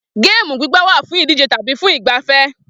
Géèmù gbígbá wà fún ìdíje tàbí fún ìgbafẹ́